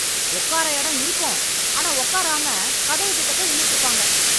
ஒக்கார எடம் இருக்கும் ஆனா ஒக்காராம கதவு கிட்ட போய் நின்னுட்டு இருப்பாங்க